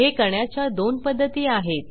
हे करण्याच्या दोन पध्दती आहेत